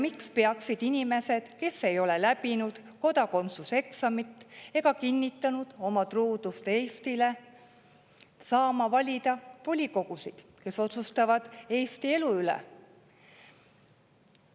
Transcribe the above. Miks peaksid inimesed, kes ei ole läbinud kodakondsuse eksamit ega kinnitanud oma truudust Eestile, saama valida volikogusid, kus otsustatakse Eesti elu üle?